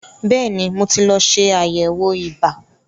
Bẹ́ẹ̀ni, mo ti lọ ṣe àyẹ̀wò ibà.